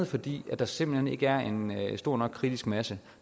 fordi der simpelt hen ikke er en stor nok kritisk masse